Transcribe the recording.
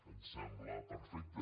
ens sembla perfecte